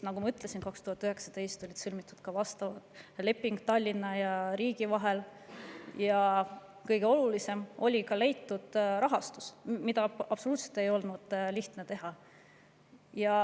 Nagu ma ütlesin, 2019. aastal sõlmiti vastav leping Tallinna ja riigi vahel ja – kõige olulisem – oli ka leitud rahastus, mida ei olnud absoluutselt lihtne teha.